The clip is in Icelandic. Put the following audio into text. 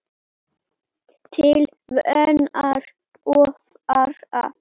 Til vonar og vara.